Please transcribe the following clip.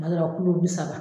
Kuma dɔw la bi saba